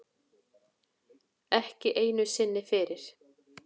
Ekki einu sinni fyrir